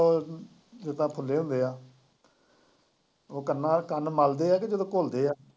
ਉਹ ਜਿਦਾ ਜਿਦਾ ਖੁੱਲੇ ਹੁੰਦੇ ਆ ਕੰਨਾਂ ਚ ਕੰਨ ਮਲਦੇ ਏ ਤੇ ਜਦੋਂ ਘੁਲਦੇ ਆ।